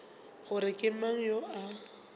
gore ke mang yo a